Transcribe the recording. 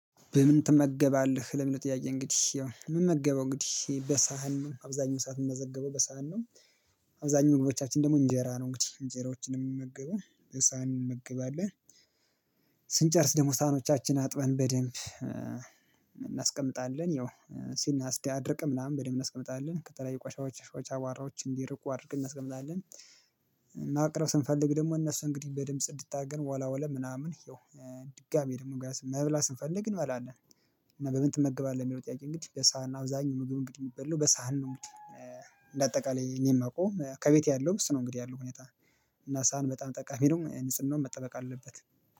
"በምን ትመገባለህ?" ለሚለው ጥያቄ እንግዲህ ያው የምመገበው እንግዲህ በሳሃን ነው አብዛኛው ሰዓት የምትዘገበው በሳህን ነው። አብዛኛው ምግቦቻችን ደግሞ እንጀራ ነው እንግዲህ እንጀሮችን ነው የምመገበው በሳሃን እንመግባለን። ስንጨርስ ደሞ ሳህኖቻችን አጥበን በደንብ እናስቀምጣለን። ያው ሲናስደ አድርቅ ምናምን በደንብ እናስቀምጣለን ከተለያየ ቋሻዎች ቋሻዎች አቧራዎች እንዲርቁ አድርግ እናስቀምጣለን። ማቅረብ ስንፈልግ ደግሞ እነሱ እንግዲህ በደንብ ስንድታገን ወላወላ ምናምን ይኸው ድጋሚ ደግሞ ገና መብላት ስንፈልግ እንበላለን። እና በምን ትመገባለህ ለሚለው ጥያቄ እንግዲህ በሳህን ነው አብዛኛው ምግብ እንግዲህ የሚበላው በሳህን ነው እንግዲህ እንደ አጠቃላይ እኔ ማውቀውም ከቤቴ ያለውም እሱ ነው እንግዲህ ያለው ሁኔታ እና ሳህን በጣም ጠቃሚ ነው። ንጽህናውም መጠበቅ አለበት።